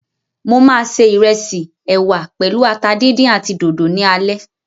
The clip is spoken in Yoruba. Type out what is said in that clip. Mo ma se ìrẹsì, ẹwà pèlú ata díndín àti dòdò ní alẹ́.